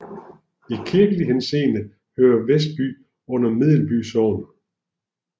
I kirkelig henseende hører Vesby under Medelby Sogn